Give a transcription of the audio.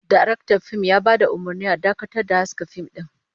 Daraktan fim ya bada umurnin a dakata da haska fim din